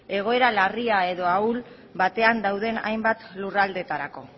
egoera larria edo ahul batean dauden hainbat lurraldetarako